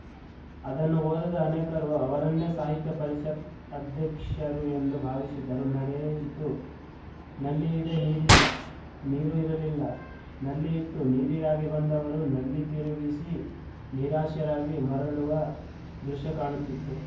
ಅದನ್ನು ಓದದ ಅನೇಕರು ಅವರನ್ನೇ ಸಾಹಿತ್ಯ ಪರಿಷತ್‌ ಅಧ್ಯಕ್ಷರು ಎಂದು ಭಾವಿಸಿದ್ದರೂ ನಡೆಯಿತು ನಲ್ಲಿಯಿದೆ ನೀರಿಲ್ಲ ನೀರು ಇರಲಿಲ್ಲ ನಲ್ಲಿ ಇತ್ತು ನೀರಿಗಾಗಿ ಬಂದವರು ನಲ್ಲಿ ತಿರುಗಿಸಿ ನಿರಾಶರಾಗಿ ಮರಳುವ ದೃಶ್ಯ ಕಾಣುತ್ತಿತ್ತು